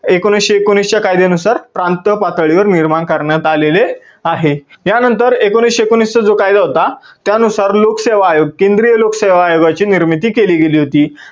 एकोणविसशे एकोणवीस च्या कायद्यानुसार प्रांत पातळीवर निर्माण करण्यात आलेले आहे. या नंतर एकोणविसशे एकोणवीस चा जो कायदा होता त्या नुसार लोकसेवा आयोग, केंद्रीय लोकसेवा आयोगाची निर्मिती केली गेली होती.